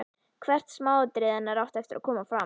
Hvert smáatriði hennar átti eftir að koma fram.